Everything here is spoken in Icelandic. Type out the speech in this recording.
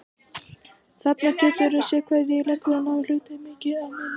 Þarna geturðu séð hvað ég legg svona hluti mikið á minnið!